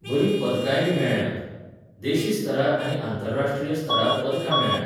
बरी पदकांयबी मेळ्ळ्यांत. देशी स्तरार आनी आंतरराष्ट्रीय स्तरार पदकां मेळ्ऴ्यांत.